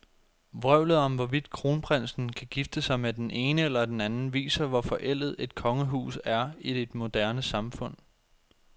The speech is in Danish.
Vrøvlet om, hvorvidt kronprinsen kan gifte sig med den ene eller den anden, viser, hvor forældet et kongehus er i et moderne samfund.